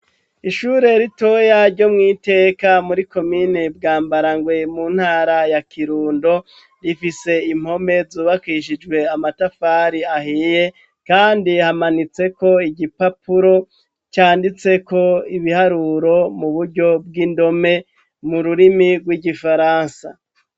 Ishure ritoya ryo mw'iteka muri komine bwambara ngwe mu ntara ya kirundo rifise impome zubakishijwe amatafari ahiye, kandi hamanitseko igipapuro canditseko ibiharuro mu buryo bw'indome mu rurimi rw'igifaransa a.